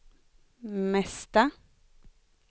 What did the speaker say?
mesta